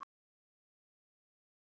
Það segir allt.